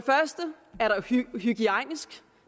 hygiejniske